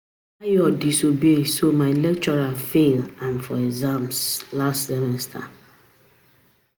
Ayo disobey so my lecturer fail am for exam last semester